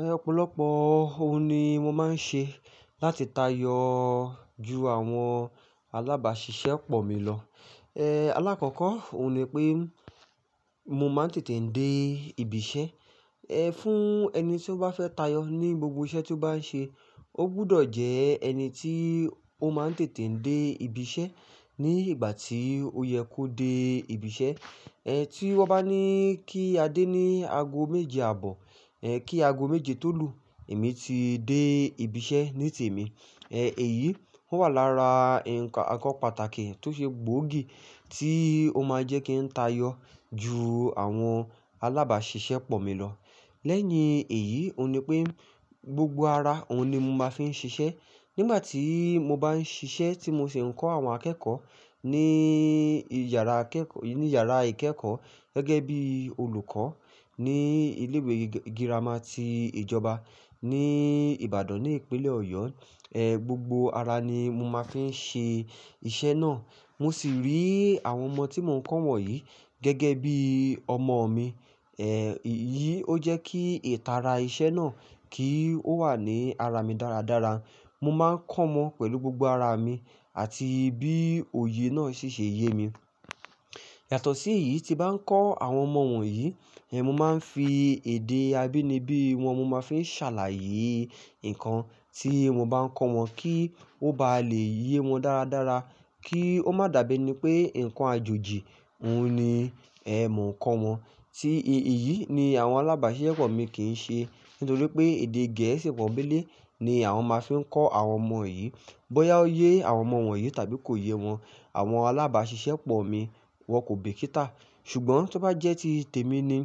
Ẹ̀ ọ̀pọ̀lọpọ̀ ohun ni mo máa ń ṣe láti tayọ ju àwọn alábàáṣiṣẹ́ pọ̀ mi lọ. Ẹ̀ alákọ̀ọ́kọ́ òun ni pé mo máa ń tètè ń dé ibi iṣẹ́. Ẹ̀ fún ẹni tí ó bá fẹ́ tayọ ní gbogbo iṣẹ́ tí ó bá ń ṣe, ó gbọdọ̀ jẹ́ ẹni tí ó máa ń tètè dé ibi iṣẹ́ ní ìgbà tí ó yẹ kó dé ibi iṣẹ́. Ẹ̀ tí wọ́n bá ní kí a dé ní ago méje àbọ̀, ẹ̀ kí ago méje tó lù, èmi ti dé ibi iṣẹ́ ní tèmi. Ẹ̀ èyí ó wà lára ǹkan àkọ́ pàtàkì tó ṣe gbòógì tí ó máa ń jẹ́ kí n tayọ ju àwọn alábàáṣiṣẹ́ pọ̀ mi lọ. Lẹ́yìn èyí, òun ni pé gbogbo ara òun ni mo máa fi ń ṣiṣẹ́. Nígbà tí mo bá ń ṣiṣẹ́ tí mo sì ń kọ́ àwọn akẹ́kọ̀ọ́ ní ìyàrá ìkẹ́kọ̀ọ́ gẹ́gẹ́ bí olùkọ́ ní ilé ìwé girama ti ìjọba ní Ìbàdàn ní ìpínlẹ̀ Ọ̀yọ́. Ẹ̀ gbogbo ara ni mo máa fi ń ṣe iṣẹ́ náà. Mo sì rí àwọn ọmọ tí mò ń kọ́ wọ̀nyí gẹ́gẹ́ bí ọmọ mi. Ẹ̀ ìyí ó jẹ́ kí ìtara iṣẹ́ náà kì ó wà ní ara mi dáradára. Mo máa ń kọ́mọ pẹ̀lú gbogbo ara mi àti bí òye náà ṣi ṣe iye mi. Yàtọ̀ sí èyí, tí bá ń kọ́ àwọn ọmọ wọ̀nyí, ẹ̀ mo máa ń fi èdè abínibí wọn mo máa fi ń ṣàlàyé nǹkan tí mo bá ń kọ́ wọn kí ó bá lè yé wọn dáradára kí ó má dàbí ẹni pé nǹkan àjòjì òun ni ẹ́ mò ń kọ́ wọn. Ti ìyí ni àwọn alábàáṣiṣẹ́ pọ̀ mi kì í ṣe nítorí pé èdè Gẹ̀ẹ́sì pọ́ńbélé ni àwọn máa fi ń kọ́ àwọn ọmọ yìí. Bọ́yá ó yẹ àwọn ọmọ wọ̀nyí tàbí kò yé wọn, àwọn alábàáṣiṣẹ́ pọ̀ mi wọ́n kò bìkítà. Ṣùgbọ́n tí ó bá jẹ́ tí tèmi ni,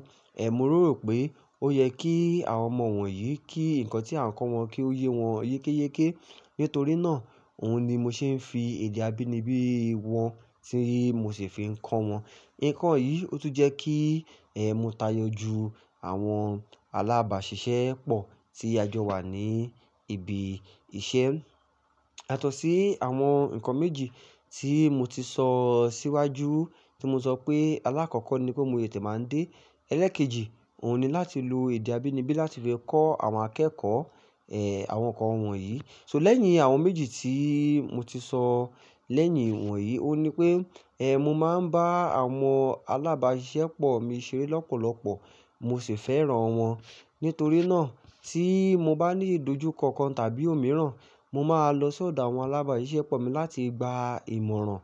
ẹ̀ mo rò rò pé ó yẹ kí àwọn ọmọ wọ̀nyí kí nǹkan tí à ń kọ́ wọn kí ó yé wọn yékéyéké. Nítorí náà, òun ni mo ṣe ń fi èdè abínibí wọn tí mo sì fi ń kọ́ wọn. Ǹkan yìí ó tún jẹ́ kí ẹ̀ mo tayọ ju àwọn alábàáṣiṣẹ́ pọ̀ tí ajọ wa ní ibi iṣẹ́. Yàtọ̀ sí àwọn ǹkan méjì tí mo ti sọ́ síwájú tí mo sọ pé alákọ̀ọ́kọ́ ni pé mo tètè máa ń dé. Ẹlẹ́ẹ̀kejì òun ni láti lo èdè abínibí láti fi kọ́ àwọn akẹ́kọ̀ọ́ ẹ̀ àwọn ǹkan wọn yìí. So lẹ́yìn àwọn méjì tí mo ti sọ̀ lẹ́yìn wọ̀nyí òun ni pé ẹ̀ mo máa ń bá àwọn alábàáṣiṣẹ́ pọ̀ mi ṣeré lọ́pọ̀lọpọ̀ mo sì fẹ́ràn wọn. Nítorí náà tí mo bá ní ìdojúkọ kan tàbí òmíràn, mo máa lọ ṣọ̀dọ̀ àwọn alábàáṣiṣẹ́ pọ̀ mi láti gba ìmọ̀ràn.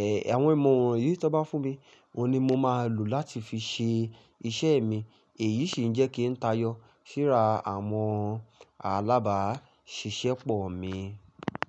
Ẹ̀ àwọn ìmọ̀ràn yìí tí wọ́n bá fún mi, òun ni mo máa lò láti fi ṣe iṣẹ́ mi. Èyí sì ń jẹ́ kí n tayọ síra àwọn alábàáṣiṣẹ́ pọ̀ mi.